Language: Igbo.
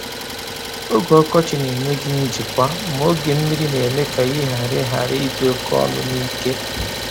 Oge ọkọchị na-enye gị njikwa, ma oge mmiri na-eme ka ihe ghara ghara idi oke ọnụ na ike.